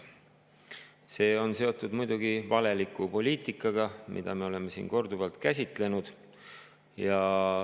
See on seotud muidugi valeliku poliitikaga, mida me oleme siin korduvalt käsitlenud.